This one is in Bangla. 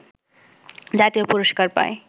জাতীয় পুরস্কার পায়